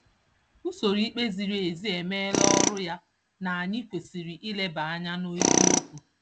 Usoro ikpe ziri ezi emeela ọrụ ya na anyị kwesịrị ileba anya n'eziokwu.